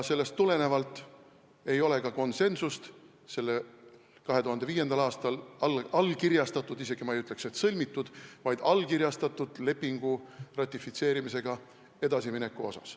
Sellest tulenevalt ei ole ka konsensust selle 2005. aastal allkirjastatud – ma isegi ei ütleks, et sõlmitud, vaid allkirjastatud – lepingu ratifitseerimisega edasimineku asjus.